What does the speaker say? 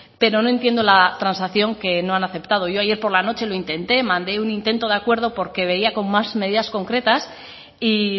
pero no entiendo la transacción que no han aceptado yo ayer por la noche lo intenté mandé un intento de acuerdo porque veía con más medidas concretas y